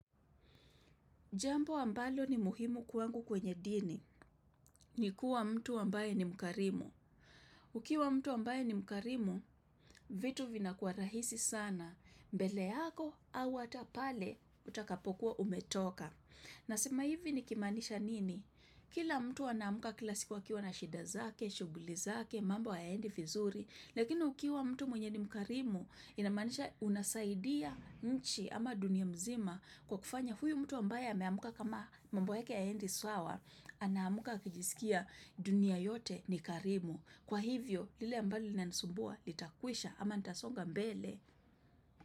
Jambo ambalo ni muhimu kwangu kwenye dini, ni kuwa mtu ambaye ni mkarimu. Ukiwa mtu ambaye ni mkarimu, vitu vina kuwa rahisi sana, mbele yako au hatapale utakapokuwa umetoka. Na sema hivi ni kimaanisha nini? Kila mtu anaamka kilasiku a kiwa na shida zake, shughuli zake, mambo haya endi vizuri, Lakini ukiwa mtu mwenye ni mkarimu, inamaanisha unasaidia nchi ama dunia mzima kwa kufanya huyu mtu ambaye ameamka kama mambo yake haya endi sawa, anaamka akijisikia dunia yote ni karimu. Kwa hivyo, lile ambalo linanisumbua, litakwisha ama nitasonga mbele.